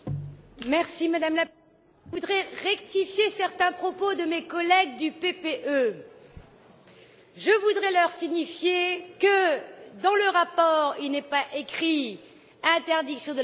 Madame la Présidente, je voudrais rectifier certains propos de mes collègues du PPE. Je voudrais leur signifier que, dans le rapport, il n'est pas écrit interdiction de la voiture.